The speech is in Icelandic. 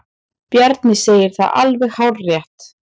Bjarni segir það alveg hárrétt.